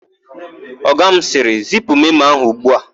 Ọga m sịrị, "zipu memo a ugbua"!